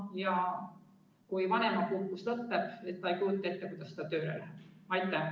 Ta ei kujuta ettegi, kuidas ta saaks tööle minna, kui tal vanemapuhkus lõpeb.